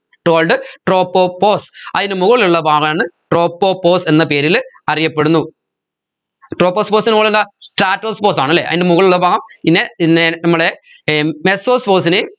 called tropopause അയിന് മുകളിലുള്ള ഭാഗമാണ് tropopause എന്ന പേരിൽ അറിയപ്പെടുന്നു tropopause ന് മുകളിൽ എന്താ stratopause ആണ് അല്ലെ അതിന്റെ മുകളിലുള്ള ഭാഗം പിന്നെ ന്നെ നമ്മടെ ഏർ mesopause നെയും